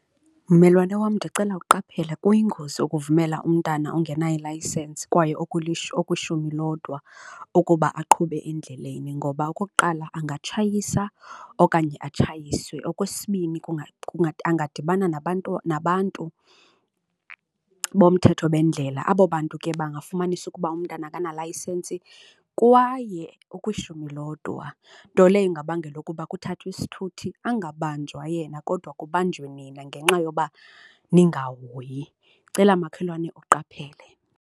Mmelwane wam, ndicela uqaphele kuyingozi ukuvumela umntana ongenayo ilayisensi kwaye okwishumi lodwa ukuba aqhube endleleni ngoba okokuqala angatshayiswa okanye atshayiswe. Okwesibini, angadibana nabantu, nabantu bomthetho bendlela, abo bantu ke bafumanisa ukuba umntana akanalayisensi kwaye okwishumi lodwa, nto leyo ingabangela ukuba kuthathwe isithuthi angabanjwa yena kodwa kubanjwe nina ngenxa yoba ninghoyi, ndicela makhelwane uqaphele.